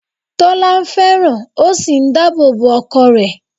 Tọ́lá fẹ́ràn ó sì n dáàbò bo ọkọ rẹ̀